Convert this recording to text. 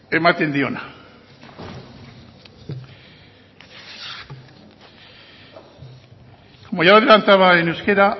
ematen diona como ya adelantaba en euskera